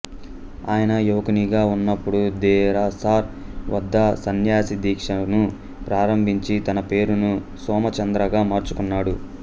ఆయన యువకునిగా ఉన్నపుడు దెరసార్ వద్ద సన్యాసి దీక్షను ప్రారంభించి తన పేరును సోమచంద్రగా మార్చుకున్నాడు